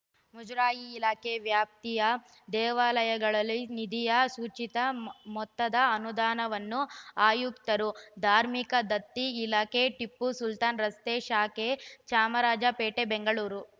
ಮುಜರಾಯಿ ಇಲಾಖೆ ವ್ಯಾಪ್ತಿಯ ದೇವಾಲಯಗಳಲ್ಲಿ ನಿಧಿಯ ಸೂಚಿತ ಮೊತ್ತದ ಅನುದಾನವನ್ನು ಆಯುಕ್ತರು ಧಾರ್ಮಿಕ ದತ್ತಿ ಇಲಾಖೆ ಟಿಪ್ಪು ಸುಲ್ತಾನ್‌ ರಸ್ತೆ ಶಾಖೆ ಚಾಮರಾಜಪೇಟೆ ಬೆಂಗಳೂರು